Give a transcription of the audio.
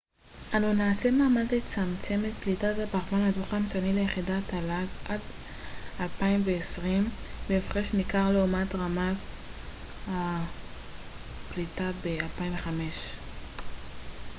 אנו נעשה מאמץ לצמצם את פליטת הפחמן הדו-חמצני ליחידת תל ג עד 2020 בהפרש ניכר לעומת רמת הפליטה ב-2005 אמר הו